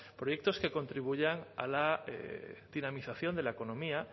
proyectos que contribuyan a la dinamización de la economía